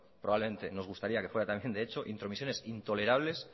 probablemente nos gustaría que fuera también de echo intromisiones intolerables